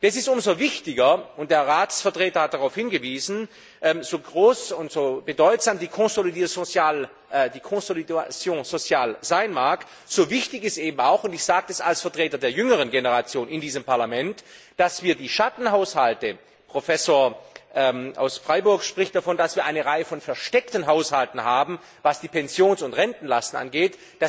Das ist umso wichtiger und der Ratsvertreter hat darauf hingewiesen so groß und so bedeutsam die consolidation sociale sein mag, so wichtig ist eben auch, und ich sage das als Vertreter der jüngeren Generation in diesem Parlament, dass wir sämtliche Schattenhaushalte Professor Bernd Raffelhüschen aus Freiburg spricht davon, dass wir eine Reihe von versteckten Haushalten haben, was die Pensions und Rentenlasten angeht